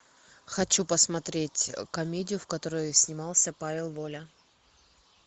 хочу посмотреть комедию в которой снимался павел воля